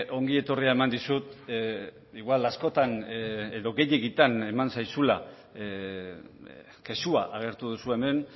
ongietorria eman dizut igual askotan edo gehiegitan eman zaizula kexua agertu duzu hemen